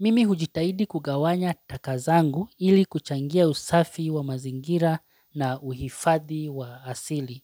mimi hujitahidi kugawanya taka zangu ili kuchangia usafi wa mazingira na uhifadhi wa asili.